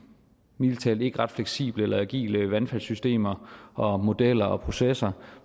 mildest talt ikke ret fleksible eller agile vandfaldssystemer og modeller og processer